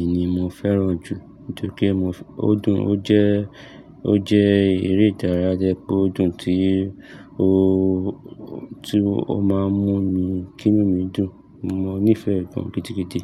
E ni mo fẹ́ràn jù nítorí pé mo fẹ́, o dùn, o jẹ́, o jẹ́ eré ìdárayá tí o dùn tí o, tí o máa ń mú mi, kí inú mi dùn. Mo nífẹ̀ẹ́ e gan gidigidi.